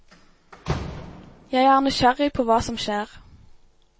Jeg er nysgjerrig på hva som skjer.